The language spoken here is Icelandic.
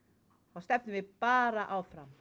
þá stefnum við bara áfram